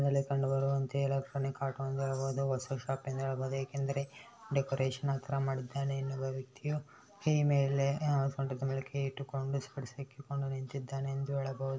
ಮೇಲೆ ಕಂಡುಬರುವಂತೆ electronic auto ಎಂದು ಹೇಳಬಹುದು ಹೊಸ ಶಾಪ್ ಎಂದು ಹೇಳಬಹುದು ಏಕೆಂದರೆ ಡೆಕೋರೇಷನ್ ಅಥರ ಮಾಡಿದ್ದಾನೆ ಇನ್ನೊಬ್ಬ ವ್ಯಕ್ತಿಯು ಈ ಮೇಲೆ ಅಹ್ ಸೊಂಟದ ಮೇಲೆ ಕೈ ಇಟ್ಟುಕೊಂಡು ಸೊಡ್ಸಕ್ಕಿಕೊಂಡು ನಿಂತಿದ್ದಾನೆ ಎಂದು ಹೇಳಬಹುದು.